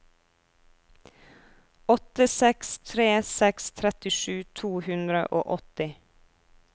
åtte seks tre seks trettisju to hundre og åtti